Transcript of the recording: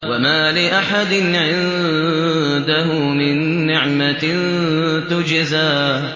وَمَا لِأَحَدٍ عِندَهُ مِن نِّعْمَةٍ تُجْزَىٰ